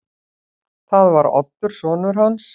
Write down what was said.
Það var Oddur sonur hans.